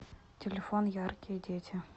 телефон яркие дети